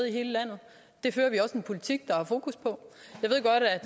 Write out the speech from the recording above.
i hele landet det fører vi også en politik der har fokus på